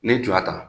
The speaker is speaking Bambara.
N'i ye j'a ta